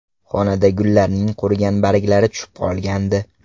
Xonada gullarning qurigan barglari tushib qolgandi.